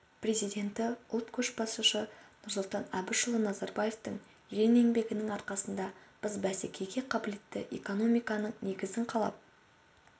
президенті ұлт көшбасшысы нұрсұлтан әбішұлы назарбаевтың ерен еңбегінің арқасында біз бәсекеге қабілетті экономиканың негізін қалап